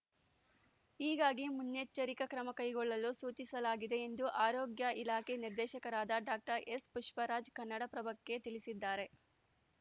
ಹೀಗಾಗಿ ಮುನ್ನೆಚ್ಚರಿಕಾ ಕ್ರಮ ಕೈಗೊಳ್ಳಲು ಸೂಚಿಸಲಾಗಿದೆ ಎಂದು ಆರೋಗ್ಯ ಇಲಾಖೆ ನಿರ್ದೇಶಕರಾದ ಡಾಕ್ಟರ್ ಎಸ್‌ಪುಷ್ಪರಾಜ್‌ ಕನ್ನಡಪ್ರಭಕ್ಕೆ ತಿಳಿಸಿದ್ದಾರೆ